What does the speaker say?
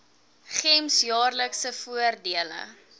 gems jaarlikse voordele